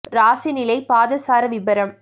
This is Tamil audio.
ராசி நிலை பாதசார விபரம்